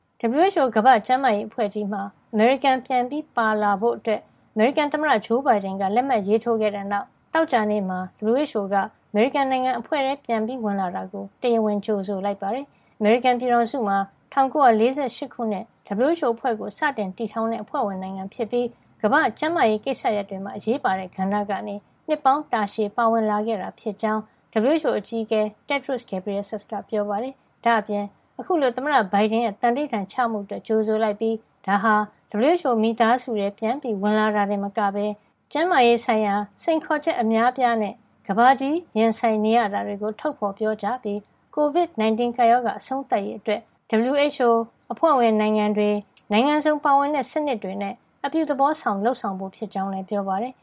WHO ကမ္ဘာ့ကျန်းမာရေး အဖွဲ့ကြီးမှာ အမေရိကန်ပြန်လည်ပါဝင်ဖို့ အမေရိကန်သမ္မတဂျိုးဘိုင်ဒန်က လက်မှတ်ရေးထိုးခဲ့တဲ့ နောက် သောကြာနေ့မှာ WHO က အမေရိကန်နိုင်ငံ အဖွဲ့ထဲ ပြန်ဝင်လာတာကို တရားဝင်ကြိုဆိုလိုက်ပါတယ်။ အမေရိကန်ပြည်ထောင်စုဟာ ၁၉၄၈ ခုနှစ် WHO အဖွဲ့ကို စတင်တည်ထောင်တဲ့ အဖွဲ့ဝင် နိုင်ငံဖြစ်ပြီး ကမ္ဘာ့ကျန်းမာရေးကိစ္စရပ်တွေမှာ အရေးပါတဲ့ ကဏ္ဍကနေ နှစ်ပေါင်းတာရှည် ပါဝင်လာခဲ့တာ ဖြစ်ကြောင်း WHO အကြီးအကဲ Tedros Adhanom Ghebreyesus က ပြောပါတယ်။ ဒါ့အပြင် အခုလို သမ္မတဘိုင်ဒန်ရဲ့ သန္နိဋ္ဌာန်ချမှုအတွက် ကြိုဆိုလိုက်ပြီး ဒါဟာ WHO မိသားစုထဲ ပြန်ဝင်လာတာတင်မကပဲ ကျန်းမာရေးဆိုင်ရာစိန်ခေါ်ချက် အများအပြားနဲ့ ကမ္ဘာကြီး ရင်ဆိုင်နေရတာတွေကို ထုတ်ဖေါ်ပြောကြားပြီး COVID 19 ကပ်ရောဂါအဆုံးသတ်ရေး အတွက် WHO၊ အဖွဲ့ဝင်နိုင်ငံတွေ၊ နိုင်ငံစုံပါဝင်တဲ့စနစ်တွေနဲ့ အပြုသဘောဆောင် လုပ်ဆောင်ဖို့ဖြစ်ကြောင်း လည်း ပြောပါတယ်